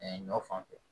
Ɛɛ ɲɔ fanfɛ